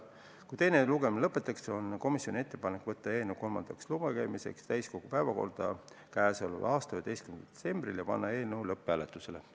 Kui teine lugemine lõpetatakse, on komisjoni ettepanek võtta eelnõu kolmandaks lugemiseks täiskogu päevakorda k.a 11. detsembril ja panna eelnõu lõpphääletusele.